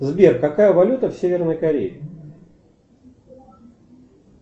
сбер какая валюта в северной корее